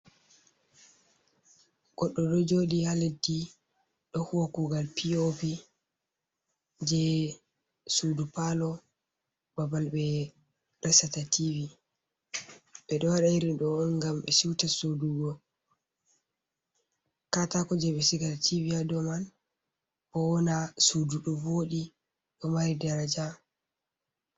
Goɗɗo ɗo jooɗi haa leddi, ɗo huwa kuugal P.O.P jei sudu paalo, babal ɓe resata tivi. Ɓe ɗo waɗa iri ɗo on ngam ɓe siwta soodugo kataako jei ɓe sigata tivi haa dou man, bo wona sudu ɗo voɗi, ɗo mari daraja.